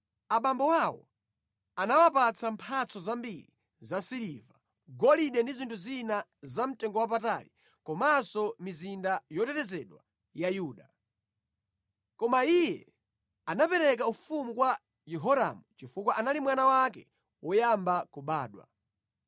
Abambo awo anawapatsa mphatso zambiri za siliva, golide ndi zinthu zina zamtengowapatali komanso mizinda yotetezedwa ya Yuda. Koma iye anapereka ufumu kwa Yehoramu chifukwa anali mwana wake woyamba kubadwa.